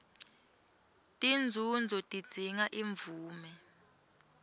tinzunzo tidzinga imvume